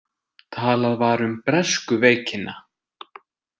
Talað var um „bresku veikina“.